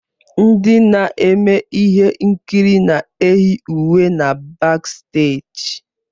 Ndị na-eme ihe nkiri na-eyi uwe na baksteeji.